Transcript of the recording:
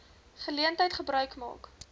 geleentheid gebruik maak